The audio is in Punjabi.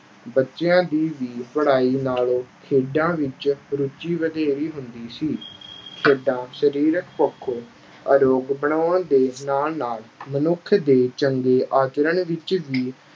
ਬੱਚਿਆਂ ਦੀ ਵੀ ਪੜ੍ਹਾਈ ਨਾਲੋਂ ਖੇਡਾਂ ਵਿੱਚ ਰੁਚੀ ਵਧੇਰੇ ਹੁੰਦੀ ਸੀ। ਖੇਡਾਂ ਸਰੀਰਕ ਪੱਖੋਂ ਅਰੋਗ ਬਣਾਉਣ ਦੇ ਨਾਲ-ਨਾਲ ਮਨੁੱਖ ਦੇ ਚੰਗੇ ਆਚਰਨ ਵਿੱਚ ਵੀ